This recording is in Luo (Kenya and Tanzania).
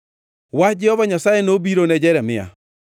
Wach Jehova Nyasaye nobiro ne Jeremia: